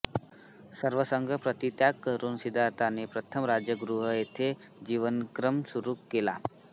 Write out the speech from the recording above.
सर्वसंग परित्याग करून सिद्धार्थाने प्रथम राजगृह येथे जीवनक्रम सुरू केला